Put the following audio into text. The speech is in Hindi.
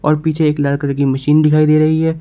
और पीछे एक लाल कलर की मशीन दिखाई दे रही है।